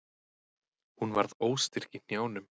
Hún varð óstyrk í hnjánum.